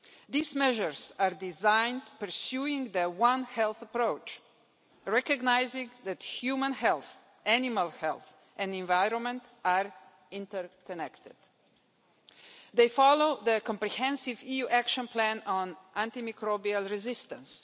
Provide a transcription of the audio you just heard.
These measures are designed in line with the one health approach, recognising that human health, animal health and the environment are interconnected. They follow the comprehensive EU Action Plan on Antimicrobial Resistance.